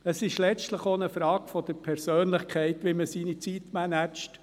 Es ist letztlich auch eine Frage der Persönlichkeit, wie man seine Zeit managt.